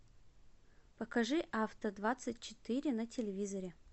покажи авто двадцать четыре на телевизоре